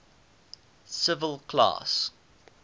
civil class